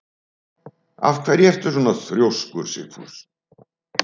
Af hverju ertu svona þrjóskur, Sigfús?